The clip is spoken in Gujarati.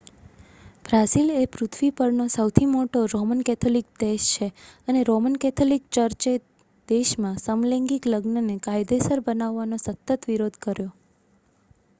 બ્રાઝિલ એ પૃથ્વી પરનો સૌથી મોટો રોમન કેથોલિક દેશ છે અને રોમન કેથોલિક ચર્ચે દેશમાં સમલૈંગિક લગ્નને કાયદેસર બનાવવાનો સતત વિરોધ કર્યો